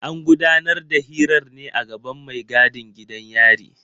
An gudanar da hirar ne a gaban mai gadin gidan yari.